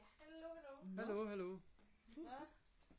hallo hallo